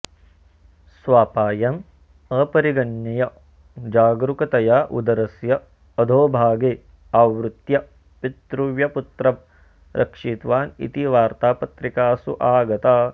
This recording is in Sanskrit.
स्वापायम् अपरिगणय्य जागरूकतया उदरस्य अधोभागे आवृत्य पितृव्यपुत्रं रक्षितवान् इति वार्ता पत्रिकासु आगता